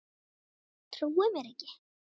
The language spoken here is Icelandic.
Trúði mér ekki.